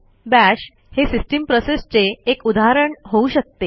bash हे system प्रोसेसचे एक उदाहरण होऊ शकते